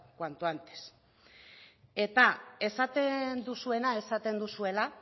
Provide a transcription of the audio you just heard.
cuanto antes eta esaten duzuena esaten duzuela